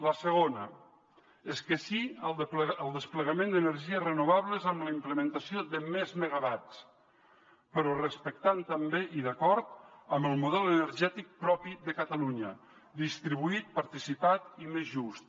la segona és que sí al desplegament d’energies renovables amb la implementació de més megawatts però respectant també i d’acord amb el model energètic propi de catalunya distribuït participat i més just